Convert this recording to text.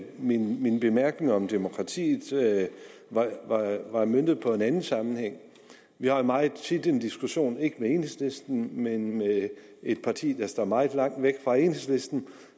min min bemærkning om demokratiet var møntet på en anden sammenhæng vi har meget tit en diskussion ikke med enhedslisten men med et parti der står meget langt væk fra enhedslisten